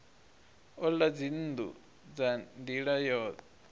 ola dzinnu nga nila yo